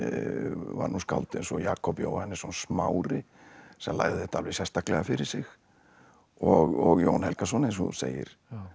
var nú skáld eins og Jakob Jóhannesson Smári sem lagði þetta alveg sérstaklega fyrir sig og Jón Helgason eins og þú segir